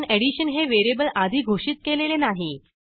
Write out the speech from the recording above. आपण एडिशन हे व्हेरिएबल आधी घोषित केलेले नाही